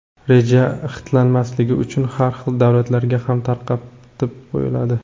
Reja xitlanmasligi uchun har xil davlatlarga ham tarqatib qo‘yiladi.